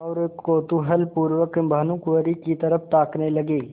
और कौतूहलपूर्वक भानुकुँवरि की तरफ ताकने लगे